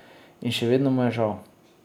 In še vedno mu je žal ...